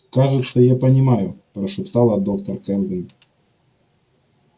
кажется я понимаю прошептала доктор кэлвин